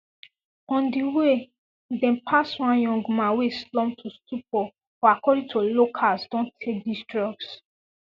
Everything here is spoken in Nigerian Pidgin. on di way dem pass one young man wey slump to stupor who according to locals don take dis drugs